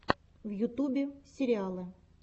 в ютубе сериалы